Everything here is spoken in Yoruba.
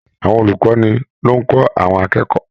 Àwọn olukọni ló n kọ àwọn akẹ́kọ̀ọ́.